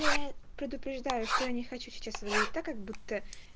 я предупреждаю что я не хочу сейчас выглядеть так как будто